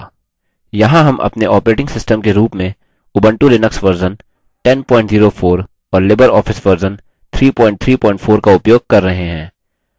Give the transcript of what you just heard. यहाँ हम अपने ऑपरेटिंग सिस्टम के रूप में उबंटु लिनक्स वर्जन 1004 और लिबर ऑफिस वर्जन 334 का उपयोग कर रहे हैं